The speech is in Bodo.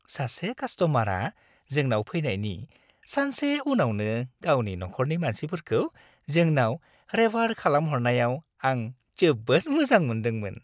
सासे कास्ट'मारआ जोंनाव फैनायनि सानसे उनावनो गावनि नखरनि मानसिफोरखौ जोंनाव रेफार खालामहरनायाव आं जोबोद मोजां मोन्दोंमोन।